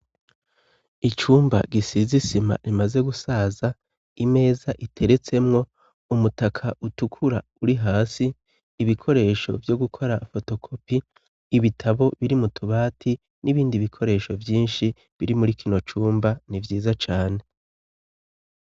Icumba gisizise ima rimaze gusaza imeza iteretsemwo umutaka utukura uri hasi ibikoresho vyo gukora fotokopi ibitabo biri mu tubati n'ibindi bikoresho vyinshi biri muri kino cumba ni vyiza cane.